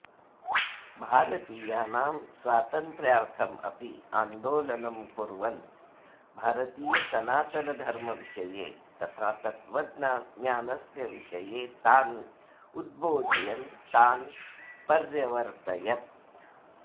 भारतीयानां स्वातन्त्र्यार्थमपि आन्दोलनं कुर्वन् भारतीयसनातनधर्मविषये तथा तत्त्वज्ञानस्य विषये तान् उदबोधयन् तान् पर्यवर्तयत्